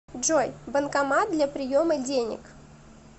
джой банкомат для приема денег